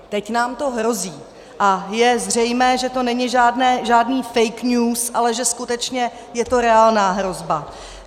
Teď nám to hrozí a je zřejmé, že to není žádný fake news, ale že skutečně je to reálná hrozba.